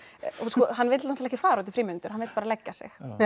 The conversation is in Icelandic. hann vill náttúrulega fara út í frímínútur hann vill bara leggja sig